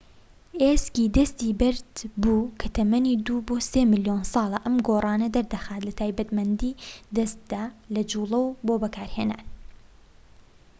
ئێسکی دەستی بەبەردبوو کە تەمەنی دوو بۆ سێ ملیۆن ساڵە ئەم گۆڕانە دەردەخات لە تایبەتمەندی دەستدا لە جوڵەوە بۆ بەکارهێنان